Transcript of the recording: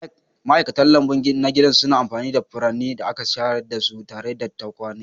Ma'aikatan lambu na gida suna amfani da furannin da aka shayar da su tare da tukwane.